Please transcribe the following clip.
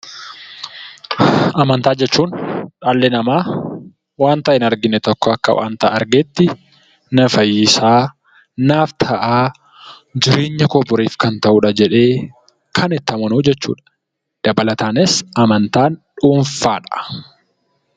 Amantaa jechuun dhalli namaa wanta hin argine tokko akka waanta argeetti na fayyisaa, naaf ta'aa, jireenya koo boriif kan ta'udha jedhee kan itti amanuu jechuudha. Dabalataanis amantaan dhuunfaadha.